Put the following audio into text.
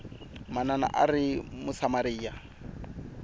manana a a ri musamariya